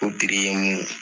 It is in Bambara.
O ye mun